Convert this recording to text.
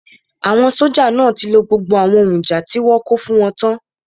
Àwọn sójà náà tí lo gbogbo àwọn ohun ìjà tí wọ́n kó fún wọn tán